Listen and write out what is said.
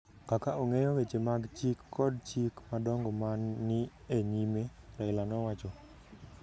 kaka ong’eyo weche mag chik kod chik madongo ma ni e nyime,” Raila nowacho.